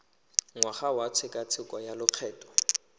ngwaga wa tshekatsheko ya lokgetho